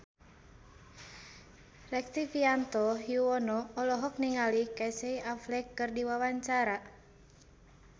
Rektivianto Yoewono olohok ningali Casey Affleck keur diwawancara